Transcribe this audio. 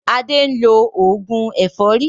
Adé ń lo oògùn ẹ̀fọ́rí